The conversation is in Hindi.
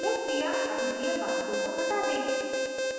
यह क्रिया अभिक्रिया pathway को हटा देगी